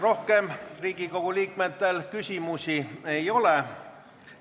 Rohkem Riigikogu liikmetel küsimusi ei ole.